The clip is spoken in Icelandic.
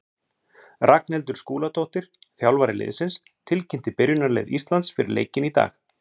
Ragnhildur Skúladóttir, þjálfari liðsins, tilkynnti byrjunarlið Íslands fyrir leikinn í dag.